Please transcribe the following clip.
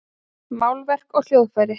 Málverk og hljóðfæri.